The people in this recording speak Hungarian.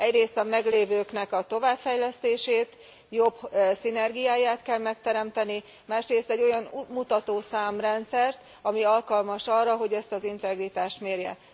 Egyrészt a meglévőknek a továbbfejlesztését, jobb szinergiáját kell megteremteni, másrészt egy olyan útmutató számrendszert, ami alkalmas arra, hogy ezt az integritást mérje.